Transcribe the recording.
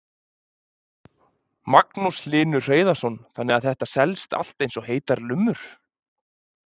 Magnús Hlynur Hreiðarsson: Þannig að þetta selst allt eins og heitar lummur?